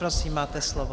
Prosím, máte slovo.